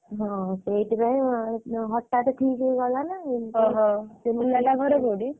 ହଁ ସେଇଥିପାଇଁ ହଠାତ ଠିକ ହେଇଗଲାନା ପୁଅ ଘରବାଲା ready ।